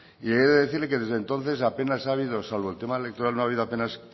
y he de decirle que desde entonces apenas ha habido salvo el tema electoral no ha habido apenas